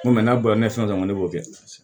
N ko mɛ n'a bɔra ne fɛn na ne b'o kɛ